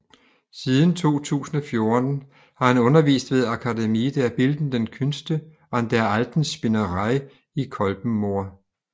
Siden 2014 har han undervist ved Akademie der Bildenden Künste an der Alten Spinnerei i Kolbermoor